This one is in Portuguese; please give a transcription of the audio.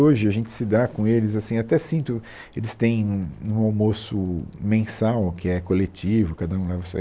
Hoje, a gente se dá com eles assim, até sinto, eles têm um um almoço mensal, que é coletivo, cada um leva isso aí.